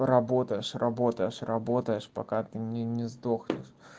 работаешь работаешь работаешь пока ты не не сдохнешь